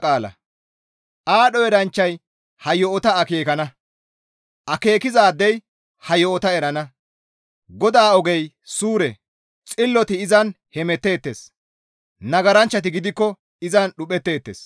Aadho eranchchay ha yo7ota akeekana. Akeekizaadey ha yo7ota erana; GODAA ogey suure; xilloti izan hemetteettes. Nagaranchchati gidikko izan dhuphetteettes.